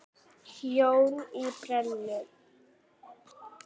Jón í Brennu.